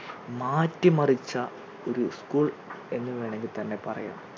മാറ്റിമറിച്ച ഒരു school എന്ന് വേണങ്കിൽ തന്നെ പറയാം